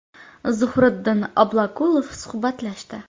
Zuhriddin Obloqulov suhbatlashdi.